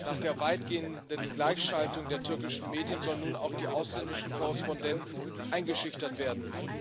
Nach der weitgehenden Gleichschaltung der türkischen Medien sollen nun auch die ausländischen Korrespondenten eingeschüchtert werden.